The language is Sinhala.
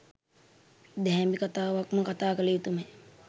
දැහැමි කථාවක්ම කථා කළයුතුමය.